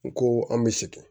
N ko an bɛ sɛgɛn